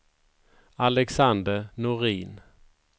Alexander Norin